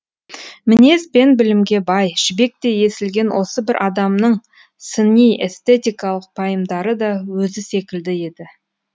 мінез бен білімге бай жібектей есілген осы бір адамның сыни эстетикалық пайымдары да өзі секілді еді